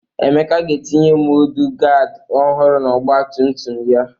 Emeka ga-etinye mọdụgaadị ọhụrụ n'ọgbatumtum ya.